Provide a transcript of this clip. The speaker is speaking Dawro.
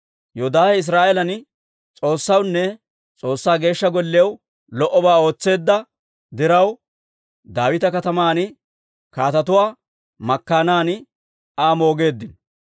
Yoodaahe Israa'eelan S'oossawunne S'oossaa Geeshsha Golliyaw lo"obaa ootseedda diraw, Daawita Kataman kaatetuwaa makkaanan Aa moogeeddino.